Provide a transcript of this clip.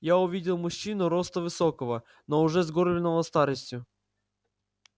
я увидел мужчину роста высокого но уже сгорбленного старостию